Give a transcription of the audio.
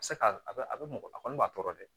A bɛ se ka a bɛ a bɛ mɔgɔ a kɔni b'a tɔɔrɔ dɛ